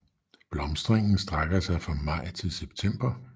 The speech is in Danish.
Blomstringen strækker sig fra maj til september